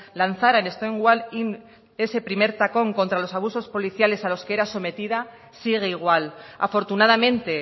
lanzaran en stonewall inn ese primer tacón contra los abusos policiales a los que era sometida sigue igual afortunadamente